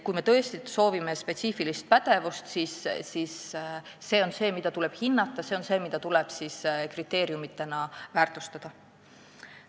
Kui me tõesti soovime sealt spetsiifilisi pädevusi, siis see on see, mida tuleb hinnata, see on see, mida tuleb kriteeriumina väärtustada.